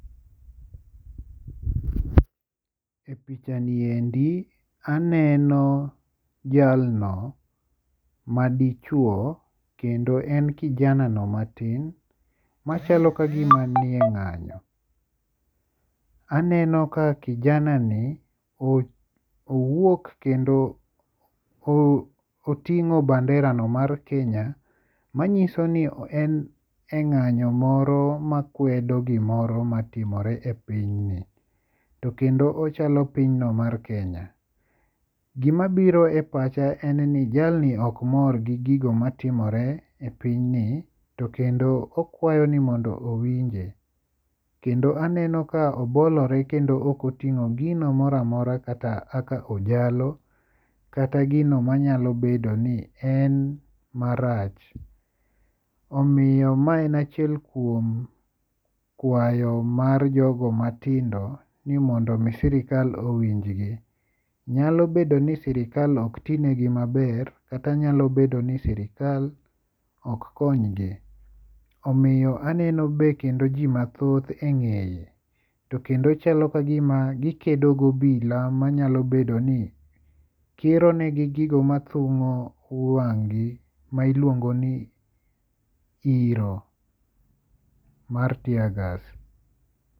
E pichani endi aneno jalno ma dichuo kendo en kijanano matim machalo kagima ni e ng'anyo. Aneno ka kijanani owuok kendo oting'o banderano mar Kenya manyiso ni en e ng'anyo moro makwedo gimoro matimore e piny ni. To kendo ochalo piny no mar Kenya. Gima biro e pacha en ni jalni ok mor gi gigo matimore e piny ni to kendo okwayo ni mondo owinje. Kendo aneno ka obolore kendo ok oting'o gino moro amora kaka ojalo. Kata gino manyalo bedo ni en marach. Omiyo ma en achiel kuom kwayo mar jogo matindo ni mondo mi sirkal owinj gi. Nyalo bedo ni sirkal ok ti negi maber. Kata nyalo bedo ni sirkal ok kony gi. Omiyo aneno be kendo ji mathoth e ng'eye. To kendo chalo kagima gikedo gobila manyalo bedo ni kiro negi gigo mathung'o wang' gi ma iluongo ni iro mar teargas.